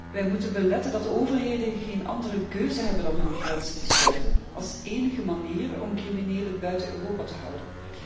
Wij moeten beletten dat overheden geen andere keuze hebben dan hun grenzen te sluiten, als enige manier om criminelen buiten Europa te houden.